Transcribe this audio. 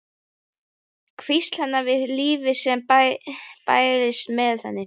Hvísl hennar við lífið sem bærist með henni.